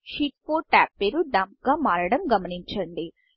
sheet 4 tab పేరు Dumpడంప్ గా మారడం గమనించండి